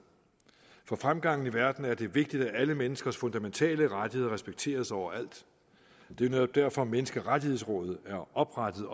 for fremgangen i verden er det vigtigt at alle menneskers fundamentale rettigheder respekteres overalt det er netop derfor at menneskerettighedsrådet er oprettet